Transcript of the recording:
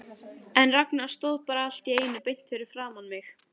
En Ragnar stóð bara allt í einu beint fyrir framan mig.